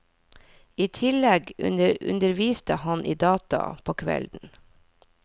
I tillegg underviste han i data på kvelden.